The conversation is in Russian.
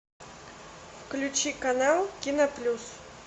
включи канал киноплюс